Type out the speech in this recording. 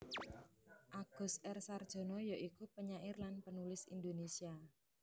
Agus R Sarjono ya iku penyair lan penulis Indonesia